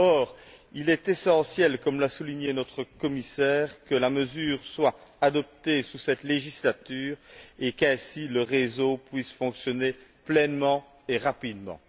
Or, il est essentiel, comme l'a souligné notre commissaire, que la mesure soit adoptée sous cette législature et qu'ainsi le réseau puisse fonctionner pleinement et rapidement.